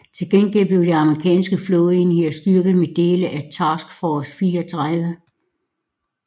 Til gengæld blev de amerikanske flådeenheder styrket med dele af Task Force 34